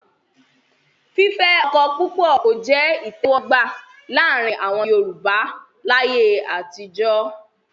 fífẹ́ ọkọ púpọ̀ kò jẹ́ ìtẹ̀wọ́gbà láàrin àwọn Yorùbá láyé àtijọ́.